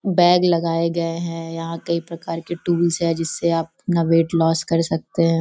Bag लगाए गए हैं यहाँ कई प्रकार के टूल्स हैं जिससे आप अपना वेट लॉस कर सकते हैं।